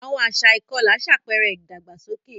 Àwọn àṣà ìkọlà ṣàpẹẹrẹ ìdàgbàsókè.